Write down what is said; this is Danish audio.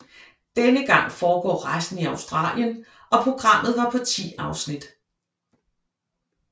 Denne gang foregår rejsen i Australien og programmet var på 10 afsnit